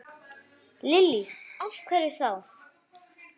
Lillý: Af hverju þá?